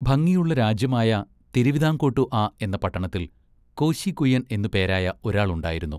ഭംഗിയുള്ള രാജ്യമായ തിരുവിതാംകോട്ടു അ എന്ന പട്ടണത്തിൽ കോശി കുയ്യൻ എന്നു പേരായ ഒരാൾ ഉണ്ടായിരുന്നു.